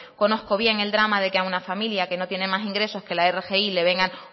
conozco bien el drama de que a una familia que no tiene más ingresos que la rgi le vengan